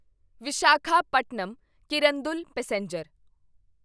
Visakhapatnam Kirandul passenger